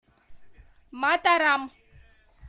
матарам